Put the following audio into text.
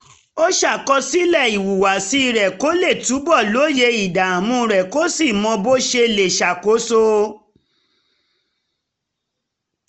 ó ṣàkọsílẹ̀ ìhùwàsí rẹ̀ kó lè túbọ̀ lóye ìdààmú rẹ̀ kó sì mọ bó ṣe lè ṣàkóso